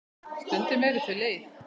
Stundum eru þau leið.